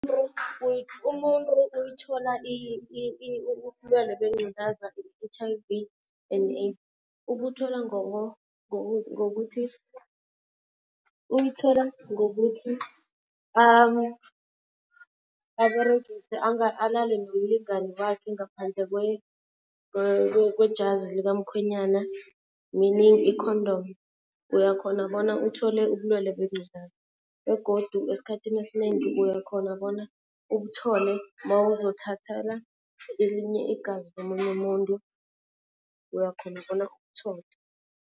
Umuntu uyithola ubulwelwe bengqulaza i-H_I_V and AIDS ubuthola ngokuthi, uyithola ngokuthi aberegise alale nomlingani wakhe ngaphandle kwejazi likamkhwenyana meaning i-condom, uyakhona bona uthole ubulwelwe bengculazi. Begodu esikhathini esinengi uyakhona bona ubuthole mawuzothathela elinye igazi lomunye umuntu uyakhona bona ubuthole.